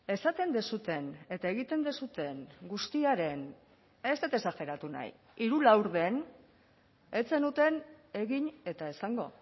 esaten duzuen eta egiten duzuen guztiaren ez dut exageratu nahi hiru laurden ez zenuten egin eta esango